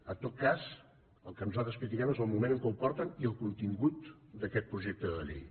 en tot cas el que nosaltres critiquem és el moment en què ho porten i el contingut d’aquest projecte de llei